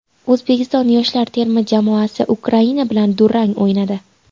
O‘zbekiston yoshlar terma jamoasi Ukraina bilan durang o‘ynadi.